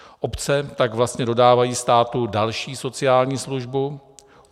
Obce tak vlastně dodávají státu další sociální službu.